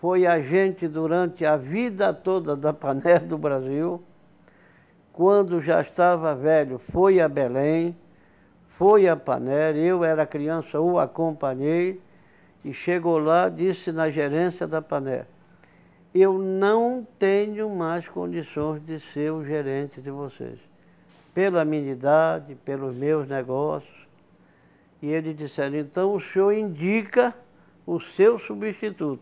foi agente durante a vida toda da Pan Air do Brasil, quando já estava velho, foi a Belém, foi à Pan Air, eu era criança, o acompanhei, e chegou lá, disse na gerência da Pan Air, eu não tenho mais condições de ser o gerente de vocês, pela minha idade, pelos meus negócios, e ele disse ali, então o senhor indica o seu substituto,